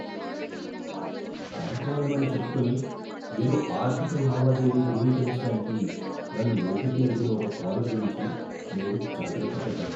Bank వాళ్ళమని చెప్పుకొని, ఏదో ఆర్థిక లావాదేవీ ధృవీకరించడానికి నన్ను ఓటిపి అడిగిన ఒక కాలర్ గురించి నేను జాగ్రత్తపడ్డాను.